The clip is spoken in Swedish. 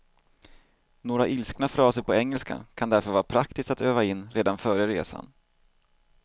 Några ilskna fraser på engelska kan därför vara praktiskt att öva in redan före resan.